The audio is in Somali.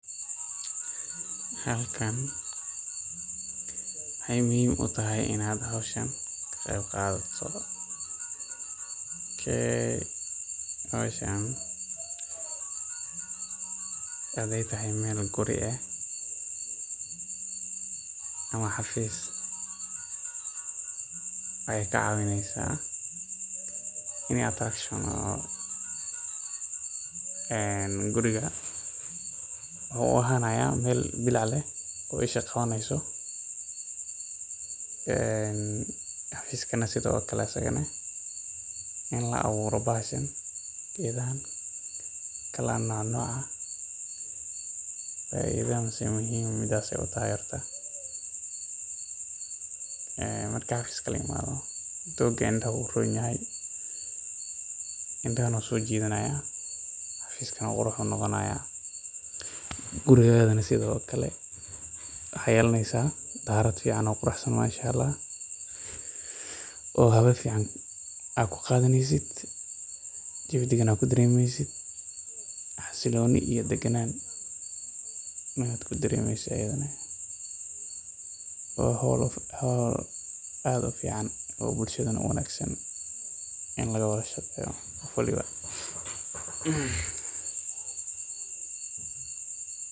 Halkan waxeey muhiim utahay, howshan waxaay tahay meel guri ah ama xafiis, waxeey ka caawineysa wuxuu ahanaya meel isha qabaneeso, dooga indaha ayuu soo jidanaayin, guriga sido kale qurux iyo hawo fican, xasilooni iyo daganaan, waa howl aad uwanagsan.